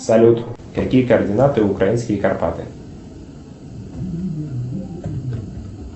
салют какие координаты украинские карпаты